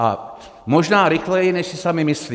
A možná rychleji, než si sami myslí.